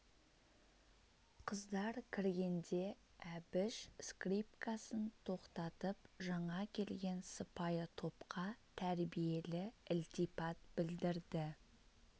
қыздар кіргенде әбіш скрипкасын тоқтатып жаңа келген сыпайы топқа тәрбиелі ілтипат білдірді